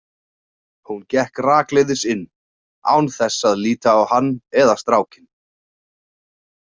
Hún gekk rakleiðis inn, án þess að líta á hann eða strákinn.